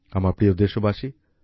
আমার প্রিয় দেশবাসী